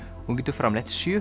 hún getur framleitt sjö